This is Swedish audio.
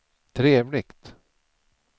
trevligt